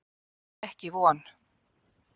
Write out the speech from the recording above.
Ekki von.